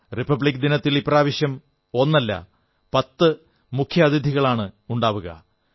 republic ദിനത്തിൽ ഇപ്രാവശ്യം ഒന്നല്ല പത്ത് മുഖ്യാതിഥികളാണുണ്ടാവുക